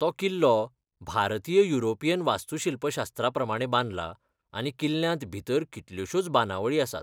तो किल्लो भारतीय युरोपियन वास्तूशिल्पशास्त्रा प्रमाणें बांदलाा आनी किल्ल्यांत भितर कितल्योशोच बांदावळी आसात.